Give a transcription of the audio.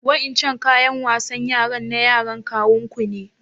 Wa'incan ƙayan wasan yaran na yaran kawun ku ne?